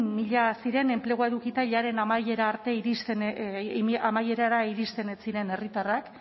mila ziren enplegua edukita amaierara iristen ez ziren herritarrak